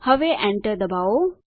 હવે Enter દબાવો